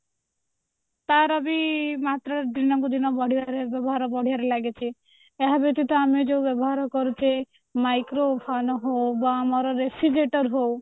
ତାର ବି ମାତ୍ରା ଦିନକୁ ଦିନ ବଢିବାରେ ବ୍ୟବହାର ବଢିବାରେ ଲାଗିଛି ଏହା ବ୍ୟତୀତ ଆମେ ଯୋଉ ବ୍ୟବହାର କରୁଛେ microvan ହଉ କି ବା ଆମର refrigerator ହଉ